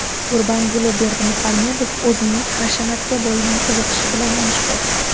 Gurbanguli Berdimuhamedov o‘zining hashamatga bo‘lgan qiziqishi bilan mashhur.